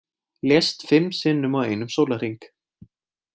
Lést fimm sinnum á einum sólarhring